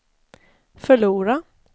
förlora